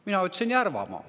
" Mina ütlesin, et Järvamaal.